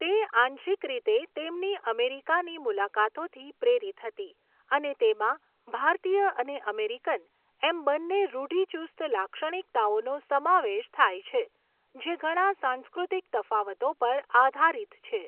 તે આંશિક રીતે તેમની અમેરિકાની મુલાકાતોથી પ્રેરિત હતી અને તેમાં ભારતીય અને અમેરિકન, એમ બંને રૂઢિચુસ્ત લાક્ષણિકતાઓનો સમાવેશ થાય છે, જે ઘણા સાંસ્કૃતિક તફાવતો પર આધારિત છે.